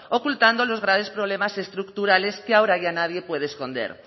ocultando los graves problemas estructurales que ahora ya nadie puede esconder